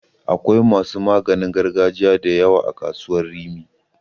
Akwai masu maganin gargajiya da yawa a kasuwar Rimi.